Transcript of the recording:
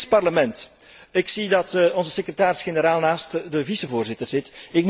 Het Europees Parlement ik zie dat onze secretaris generaal naast de ondervoorzitter zit.